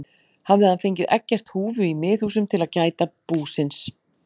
Hafði hann fengið Eggert húfu í Miðhúsum til að gæta búsins.